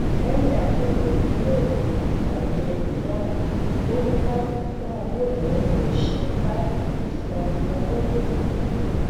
lẹhìn àbẹwò iléìwòsàn àìlérò náà ó ní láti tún owó ìnáwó rẹ ṣe láti lè san owó ìtọjú